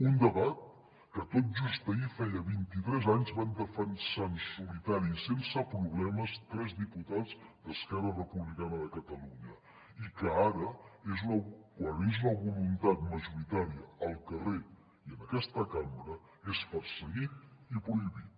un debat que tot just ahir feia vint i tres anys van defensar en solitari sense problemes tres diputats d’esquerra republicana de catalunya i que ara quan és una voluntat majoritària al carrer i en aquesta cambra és perseguit i prohibit